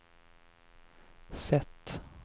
sätt